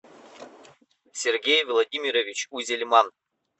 сергей владимирович узельман